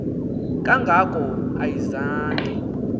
kanga ko ayizange